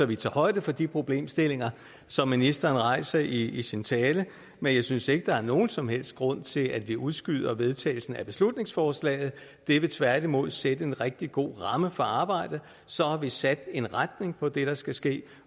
vi tager højde for de problemstillinger som ministeren rejser i sin tale men jeg synes ikke der er nogen som helst grund til at vi udskyder vedtagelsen af beslutningsforslaget det vil tværtimod sætte en rigtig god ramme for arbejdet så har vi sat en retning på det der skal ske